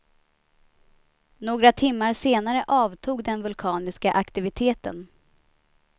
Några timmar senare avtog den vulkaniska aktiviteten.